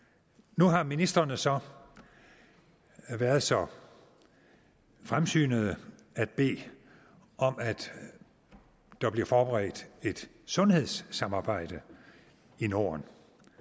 nu har ministrene så været så fremsynede at bede om at der bliver forberedt et sundhedssamarbejde i norden